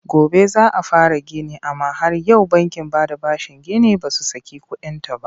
Gobe za a fara gini amma har yau bankin bada bashin ginin ba su saki kuɗinta ba.